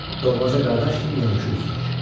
Doğmaca qardaş kimi yanaşı üzürük.